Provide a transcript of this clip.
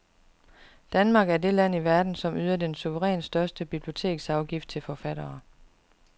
Danmark er det land i verden, som yder den suverænt største biblioteksafgift til forfattere.